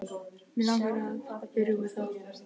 Mig langar að pabbi rjúfi það.